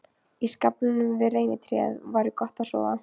Í skaflinum við reynitréð væri gott að sofa.